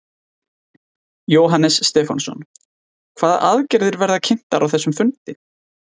Jóhannes Stefánsson: Hvaða aðgerðir verða kynntar á þessum fundi?